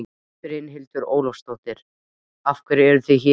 Brynhildur Ólafsdóttir: Af hverju eruð þið hér?